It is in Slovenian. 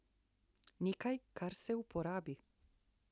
Nekaj, kar se uporabi.